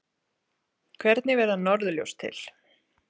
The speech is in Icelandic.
Hvernig verða norðurljós til?